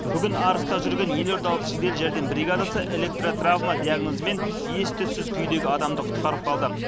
бүгін арыста жүрген елордалық жедел жәрдем бригадасы электротравма диагнозымен ес түссіз күйдегі адамды құтқарып қалды